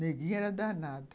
Neguinho era danado!